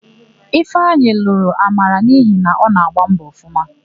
Ifeanyị lụrụ Amara n'ihi na ọ na-agbọ mbọ ọfụma.